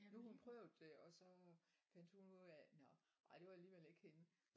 Nu har hun prøvet det og så fandt hun ud af nåh ej det var alligevel ikke hende